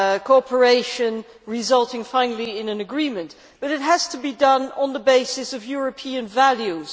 cooperation resulting finally in an agreement, but it has to be done on the basis of European values.